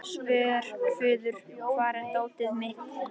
Svörfuður, hvar er dótið mitt?